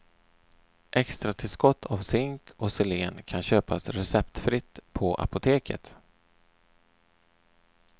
Extratillskott av zink och selen kan köpas receptfritt på apoteket.